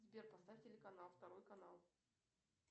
сбер поставь телеканал второй канал